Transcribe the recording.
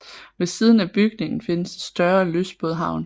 Ved siden af bygningen findes et større lystbådehavn